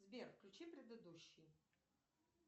сбер включи предыдущий